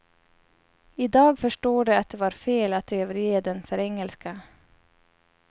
Idag förstår de att det var fel att överge den för engelska.